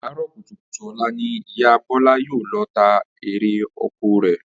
Àárò̩ kùtùkùtù ò̩la ni Ìyá Bó̩lá yóò lo̩ ta erè oko rè̩